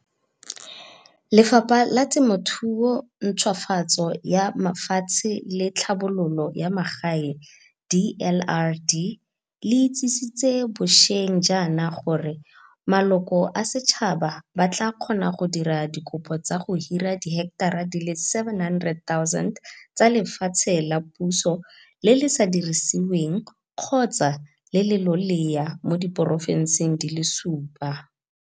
Lefapha la Temothuo, Ntšhwafatso ya Mafatshe le Tlhabololo ya Magae, DLRD le itsisitse bosheng jaana gore maloko a setšhaba ba tla kgona go dira dikopo tsa go hira diheketara di le 700 000 tsa lefatshe la puso le le sa dirisiweng kgotsa le le lolea mo diporofenseng di le supa.